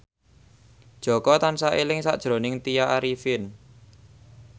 Jaka tansah eling sakjroning Tya Arifin